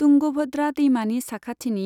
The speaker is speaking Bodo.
तुंगभद्रा दैमानि साखाथिनि